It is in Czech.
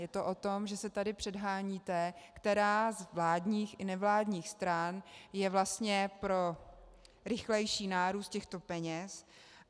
Je to o tom, že se tady předháníte, která z vládních i nevládních stran je vlastně pro rychlejší nárůst těchto peněz.